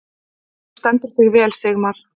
Þú stendur þig vel, Sigmar!